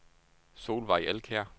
Solvejg Elkjær